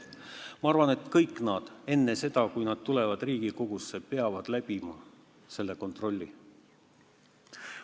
Ma arvan, et kõik eelnõud, enne seda kui need tulevad Riigikogusse, peavad läbima kontrolli.